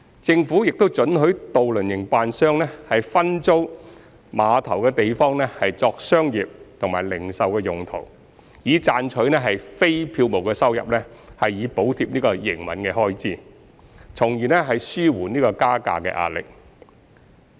政府亦准許渡輪營辦商分租碼頭的地方作商業和零售用途，以賺取非票務收入以補貼營運開支，從而紓緩加價壓力。